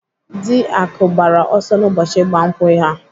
Dị Akụ gbara ọsọ n'ụbọchị ịgba nkwụ ha.